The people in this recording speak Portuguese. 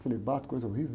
Celibato, coisa horrível